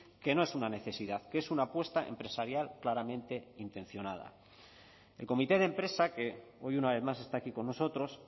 que no es una necesidad que es una apuesta empresarial claramente intencionada el comité de empresa que hoy una vez más está aquí con nosotros